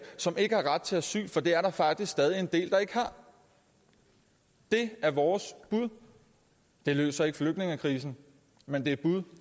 som ikke har ret til asyl for det er der faktisk stadig en del der ikke har det er vores bud det løser ikke flygtningekrisen men det